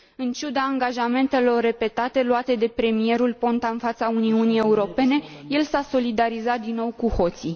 În ciuda angajamentelor repetate luate de premierul Ponta în fața Uniunii Europene, el s a solidarizat, din nou, cu hoții.